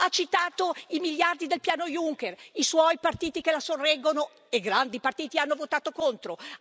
Ha citato i miliardi del piano Juncker, ma i partiti che la sorreggono e grandi partiti hanno votato contro!